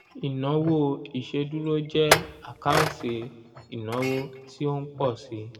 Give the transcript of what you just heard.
ìnáwó ìṣèdúró jẹ́ àkáǹtì ìnáwó tí ó ń pọ̀ síi